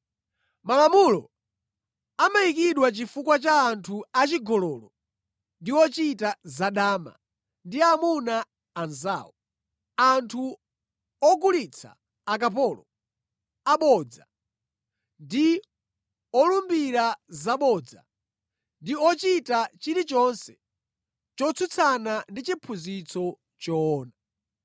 Malamulo amayikidwa chifukwa cha anthu achigololo ndi ochita zadama ndi amuna anzawo, anthu ogulitsa akapolo, abodza ndi olumbira zabodza, ndi ochita chilichonse chotsutsana ndi chiphunzitso choona.